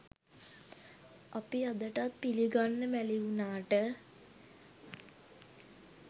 අපි අදටත් පිළිගන්න මැළි වුණාට